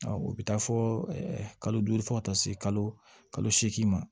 O bɛ taa fɔ kalo duuru fo ka taa se kalo seegin ma